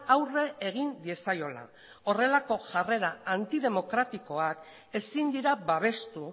aurre egin diezaiola horrelako jarrera antidemokratikoak ezin dira babestu